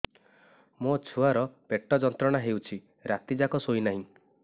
ମୋ ଛୁଆର ପେଟ ଯନ୍ତ୍ରଣା ହେଉଛି ରାତି ଯାକ ଶୋଇନାହିଁ